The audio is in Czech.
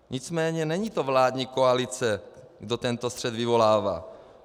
Nicméně není to vládní koalice, kdo tento střet vyvolává.